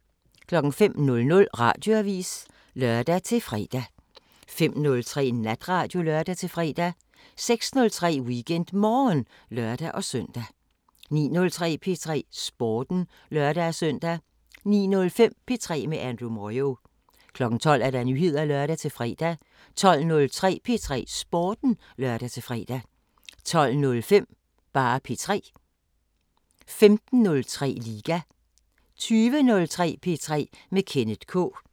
05:00: Radioavisen (lør-fre) 05:03: Natradio (lør-fre) 06:03: WeekendMorgen (lør-søn) 09:03: P3 Sporten (lør-søn) 09:05: P3 med Andrew Moyo 12:00: Nyheder (lør-fre) 12:03: P3 Sporten (lør-fre) 12:05: P3 15:03: Liga 20:03: P3 med Kenneth K